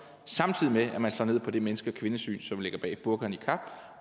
samtidig med at man slår ned på det menneske og kvindesyn som ligger bag burka og niqab